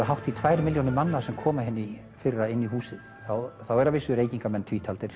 hátt í tvær milljónir manna sem komu hérna í fyrra inn í húsið þá eru að vísu reykingamenn